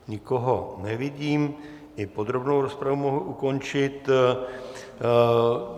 Nikoho nevidím, i podrobnou rozpravu mohu ukončit.